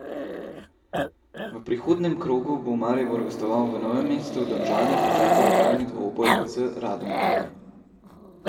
V prihodnjem krogu bo Maribor gostoval v Novem mestu, Domžale pa čaka lokalni dvoboj z Radomljami.